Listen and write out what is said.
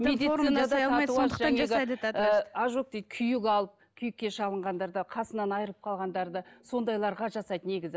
ожог дейді күйік алып күйікке шалынғандарда қасынан айырылып қалғандарда сондайларға жасайды негізі